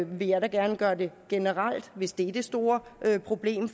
vil jeg da gerne gøre det generelt hvis det er det store problem